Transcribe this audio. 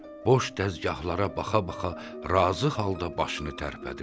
O boş dəzgahllara baxa-baxa razı halda başını tərpədirdi.